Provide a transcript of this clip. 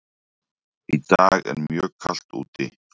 Í dag er mjög kalt úti.